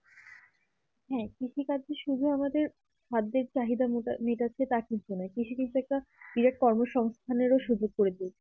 হ্যাঁ কৃষি কাজে শুধু আমাদের খাদ্যের চাহিদা মেটাছে সে কিন্তু না কৃষি কাজ একটা গৃহকর্ম সংস্থানের ও সুযোগ করেছে